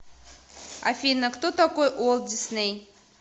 афина кто такой уолт дисней